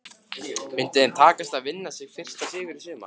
Myndi þeim takast að vinna sinn fyrsta sigur í sumar?